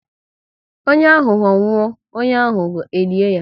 Onye ahụho nwụọ, onye ahụho e lie ya